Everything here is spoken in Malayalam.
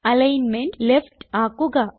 അലിഗ്ന്മെന്റ് ലെഫ്റ്റ് ആക്കുക